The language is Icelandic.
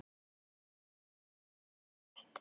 Hver er tilgangurinn með þessari frétt?